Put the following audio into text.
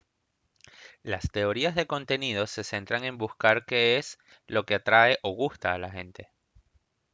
las teorías de contenido se centran en buscar qué es lo que atrae o gusta a la gente